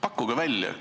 Pakkuge välja.